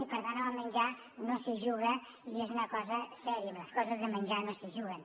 i per tant amb el menjar no s’hi juga i és una cosa seriosa amb les coses de menjar no s’hi juga